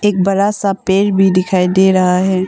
बड़ा सा पेड़ भी दिखाई दे रहा है।